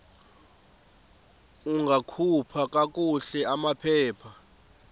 ungakhupha kakuhle amaphepha